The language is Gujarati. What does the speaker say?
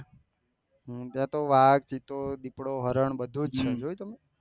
ત્યાં તો વાઘ પીપળો દીકડો હરણ બધું જ હોયુ જોયું તમે